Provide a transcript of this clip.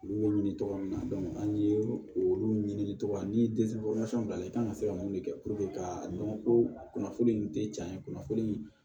Olu bɛ ɲini tɔgɔ min na an ye olu ɲini cogo min na ni b'a la i kan ka se ka mun de kɛ ka dɔn ko kunnafoni in tɛ cɛn kunnafoni